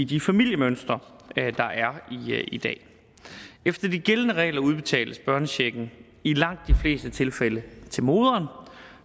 de familiemønstre der er i dag efter de gældende regler udbetales børnechecken i langt de fleste tilfælde til moderen